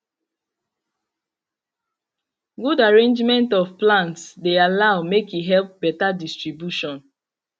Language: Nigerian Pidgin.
good arrangement of plants de allow make e help better distribution